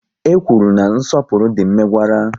E kwụrụ na nsọpụrụ dị mmegwara